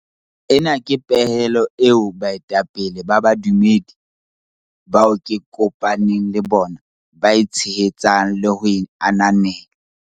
Ena ke pehelo eo baetapele ba bodumedi bao ke kopa neng le bona ba e tshehetsang le ho e ananela.